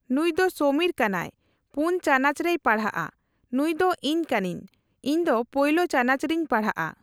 ᱱᱩᱭ ᱫᱚ ᱥᱚᱢᱤᱨ ᱠᱟᱱᱟᱭ᱾ᱯᱳᱱ ᱪᱟᱱᱟᱪ ᱨᱮᱭ ᱯᱟᱲᱦᱟᱜ ᱟ᱾ ᱱᱩᱭ ᱫᱚ ᱤᱧ ᱠᱟᱱᱟ.ᱧ᱾ ᱤᱧ ᱫᱚ ᱯᱳᱭᱞᱳ ᱪᱟᱱᱟᱪ ᱨᱮᱧ ᱯᱟᱲᱦᱟᱜ ᱟ᱾